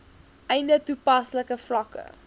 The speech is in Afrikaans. einde toepaslike vlakke